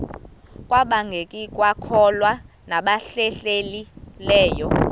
kwabangekakholwa nabahlehli leyo